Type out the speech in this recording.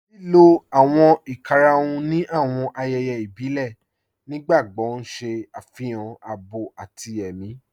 Lílò awọn ìkàràhùn ni awọn ayéyé ìbílẹ̀ nígbàgbogbo n ṣẹ afihàn àábọ̀ àti è̩mi.